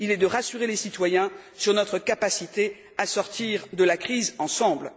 Il est de rassurer les citoyens sur notre capacité à sortir de la crise ensemble.